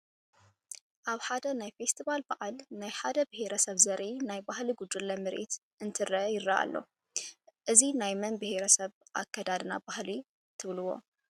ኣብ ሓደ ናይ ፌስቲቫል በዓል ናይ ሓደ ብሄረ ሰብ ዘርኢ ናይ ባህሊ ጉጅለ ምርኢት እንተርእዩ ይረአ ኣሎ፡፡ እዚ ናይ መን ብሄረ ሰብ ኣከዳድና ባህልን ትብልዎ?